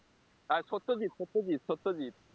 আর Satyajit Satyajit Satyajit